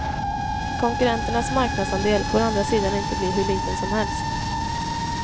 Konkurrenternas marknadsandel får å andra sidan inte bli hur liten som helst.